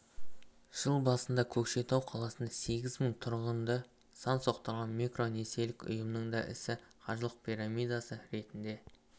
жыл басында көкшетау қаласында сегіз мың тұрғынды сан соқтырған микронесиелік ұйымның да ісі қаржы пирамидасы ретінде